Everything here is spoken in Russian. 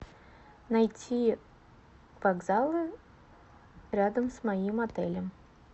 найти вокзалы рядом с моим отелем